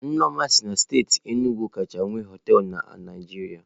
Nneoma si na steeti Enugwu kacha nwee hoteelu na Naịjirịa.